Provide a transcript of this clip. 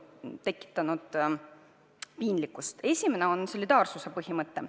Kõigepealt viitan solidaarsuse põhimõttele.